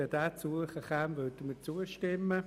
Wenn dieser noch eingefügt würde, könnten wir zustimmen.